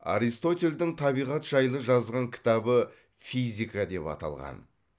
аристотельдің табиғат жайлы жазған кітабы физика деп аталған